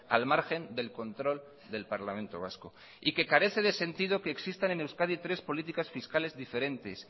al margen del control del parlamento vasco y que carece de sentido que existan en euskadi tres políticas fiscales diferentes